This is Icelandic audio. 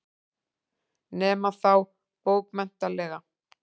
Nema þá bókmenntalega.